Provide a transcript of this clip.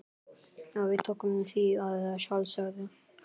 Og við tókum því að sjálfsögðu.